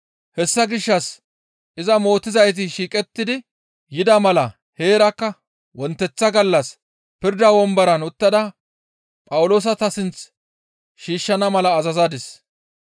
«Hessa gishshas iza mootizayti shiiqettidi yida mala heerakka wonteththa gallas pirda womboran uttada Phawuloosa ta sinth shiishshana mala azazadis.